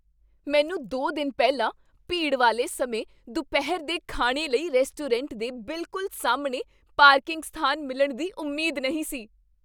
ਮੈਨੂੰ ਦੋ ਦਿਨ ਪਹਿਲਾਂ ਭੀੜ ਵਾਲੇ ਸਮੇਂ ਦੁਪਹਿਰ ਦੇ ਖਾਣੇ ਲਈ ਰੈਸਟੋਰੈਂਟ ਦੇ ਬਿਲਕੁਲ ਸਾਹਮਣੇ ਪਾਰਕਿੰਗ ਸਥਾਨ ਮਿਲਣ ਦੀ ਉਮੀਦ ਨਹੀਂ ਸੀ